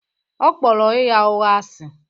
Ọ kpọrọ ịgha ụgha asị